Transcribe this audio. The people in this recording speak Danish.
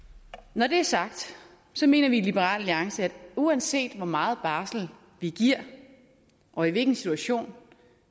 når det er sagt mener vi i liberal alliance at uanset hvor meget barsel vi giver og i hvilken situation